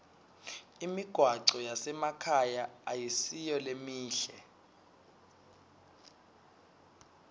imigwaco yasemakhaya ayisiyo lemihle